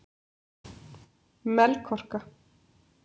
Melkorka